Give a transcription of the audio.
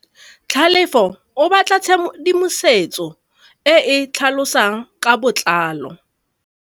Tlhalefô o batla tshedimosetsô e e tlhalosang ka botlalô.